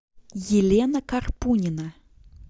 елена карпунина